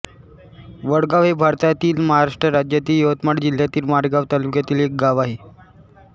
वडगाव हे भारतातील महाराष्ट्र राज्यातील यवतमाळ जिल्ह्यातील मारेगांव तालुक्यातील एक गाव आहे